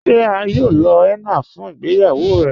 Ṣe à yóò lọ henna fun ìgbéyàwó rẹ?